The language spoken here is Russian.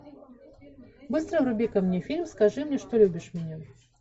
быстро вруби ка мне фильм скажи мне что любишь меня